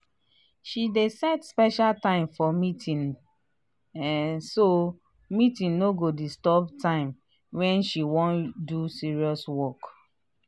she dey set special time for meeting um so meeting no go disturb time when she wan do serious work.